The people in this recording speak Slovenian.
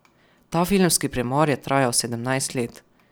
Ta filmski premor je trajal sedemnajst let.